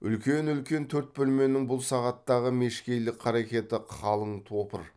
үлкен үлкен төрт бөлменің бұл сағаттағы мешкейлік қарекеті қалын топыр